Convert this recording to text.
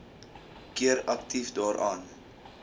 keer aktief daaraan